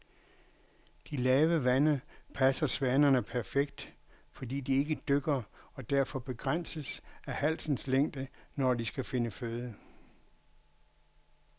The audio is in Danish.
De lave vande passer svanerne perfekt, fordi de ikke dykker og derfor begrænses af halsens længde, når de skal finde føde.